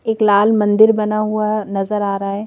एक लाल मंदिर बना हुआ नजर आ रहा है।